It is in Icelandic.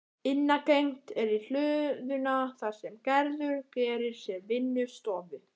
Innangengt er í hlöðuna þar sem Gerður gerir sér vinnustofu.